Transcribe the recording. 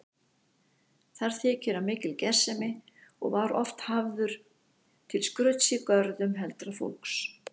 Þar þykir hann mikil gersemi og var oft hafður til skrauts í görðum heldra fólks.